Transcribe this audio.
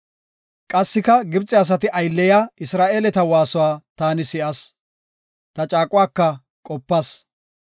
Qassika Gibxe asati aylleyiya Isra7eeleta waasuwa taani si7as; ta caaquwaka qopas.